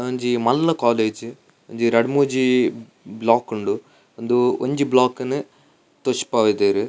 ಅ ಒಂಜಿ ಮಲ್ಲ ಕೋಲೇಜ್ ಒಂಜಿ ರಡ್ಡ್ ಮೂಜಿ ಬ್ಲೋಕ್ ಉಂಡು ಉಂದು ಒಂಜಿ ಬ್ಲೋಕ್ ನು ತೋಜ್ಪಾವುದೆರ್.